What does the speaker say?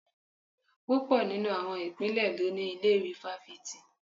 Púpọ̀ nínú àwọn ìpínlẹ̀ ló ní ilé-ìwé fáfitì